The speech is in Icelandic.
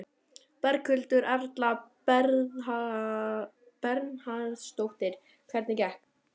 Berghildur Erla Bernharðsdóttir: Hvernig gekk?